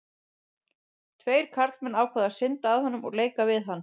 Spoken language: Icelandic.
Tveir karlmenn ákváðu að synda að honum og leika við hann.